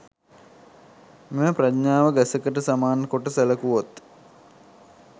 මෙම ප්‍රඥාව ගසකට සමාන කොට සැළකුවොත්